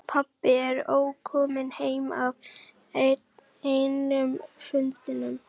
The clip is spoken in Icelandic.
Pabbi var ókominn heim af enn einum fundinum.